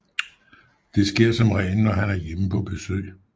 Det sker som regel når han er hjemme på besøg